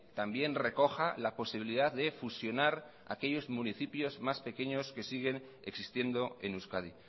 también recoja la posibilidad de fusionar aquellos municipios más pequeños que siguen existiendo en euskadi